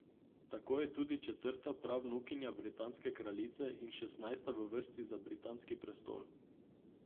Tako je tudi četrta pravnukinja britanske kraljice in šestnajsta v vrsti za britanski prestol.